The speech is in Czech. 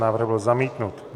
Návrh byl zamítnut.